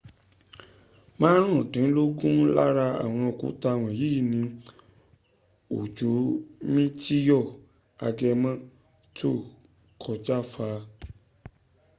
maarundinlogun lára awon òkúta wọ̀nyí ni òjò mitiyo agëmọ tó kọjá fà